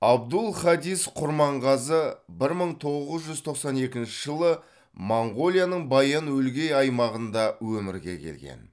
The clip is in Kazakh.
абдул хадис құрманғазы бір мың тоғыз жүз тоқсан екінші жылы моңғолияның баян өлгей аймағында өмірге келген